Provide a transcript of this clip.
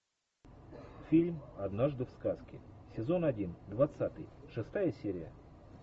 фильм однажды в сказке сезон один двадцатый шестая серия